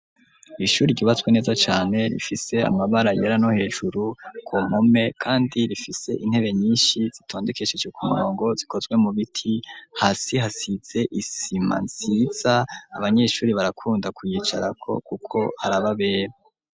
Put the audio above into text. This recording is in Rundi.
Ishuri ryubatswe neza cane rifise amabara yera no hejuru ku mpome, kandi rifise intebe nyinshi zitondekesheje ku murongo zikozwe mu biti, hasi hasize isima nziza, abanyeshuri barakunda kuyicarako kuko harababera.